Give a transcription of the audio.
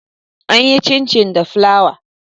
An yi Cincin da flawa.